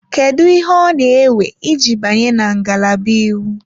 Kedu ihe ọ na-ewe iji banye na ngalaba Iwu?